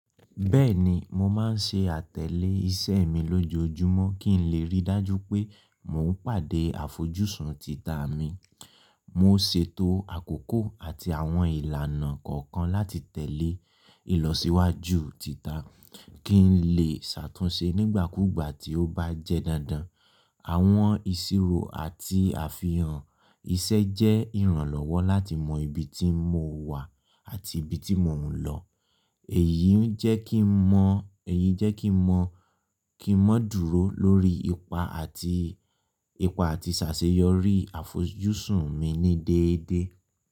Bẹ́ẹ̀ni, mo máa ń ṣe àtẹ̀lé iṣẹ́ mi lójoojúmọ́ kí n lè rí dájú pé mò ń pàdé àfojúsùn tita mi. Mo ṣètò àkókò àti àwọn ìlànà kọ̀ọ̀kan láti tẹ̀lé ìlọsíwájú tita kí n lè ṣàtúnṣe nígbàkúgbà tí ó bá jẹ́ dandan. Àwọn ìṣirò àti àfihàn iṣẹ́ jẹ́ ìrànlọ́wọ́ láti mọ ibi tí mo wà àti ibi tí mò ń lọ. Èyí ń jẹ́ kí mo, èyí jẹ́ kí mo, kí mo dúró lórí ipa àti, ipa àti ṣàṣeyọrí àfojúsùn mi ní déédéé.